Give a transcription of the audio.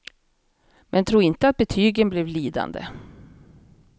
Men tro inte att betygen blev lidande.